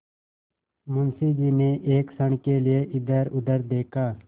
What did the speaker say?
मुंशी जी ने एक क्षण के लिए इधरउधर देखा